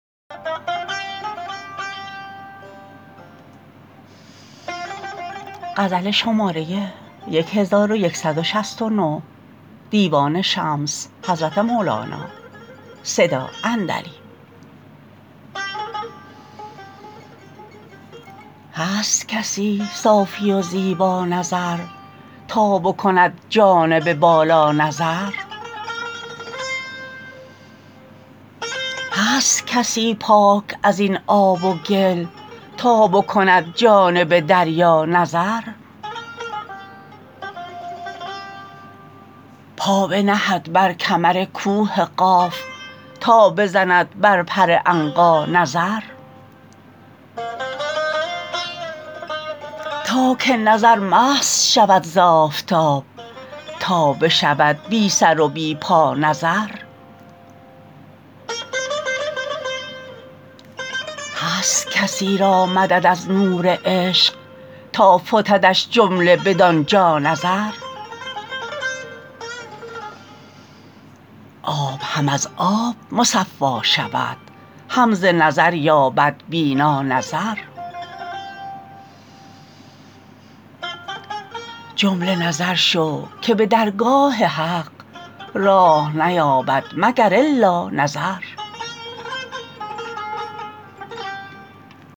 هست کسی صافی و زیبانظر تا بکند جانب بالا نظر هست کسی پاک از این آب و گل تا بکند جانب دریا نظر پا بنهد بر کمر کوه قاف تا بزند بر پر عنقا نظر تا که نظر مست شود ز آفتاب تا بشود بی سر و بی پا نظر هست کسی را مدد از نور عشق تا فتدش جمله بدان جا نظر آب هم از آب مصفا شود هم ز نظر یابد بینا نظر جمله نظر شو که به درگاه حق راه نیابد مگر الا نظر